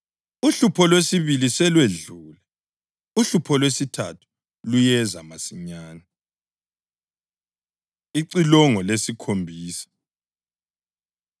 Uhlupho lwesibili selwedlule; uhlupho lwesithathu luyeza masinyane. Icilongo Lesikhombisa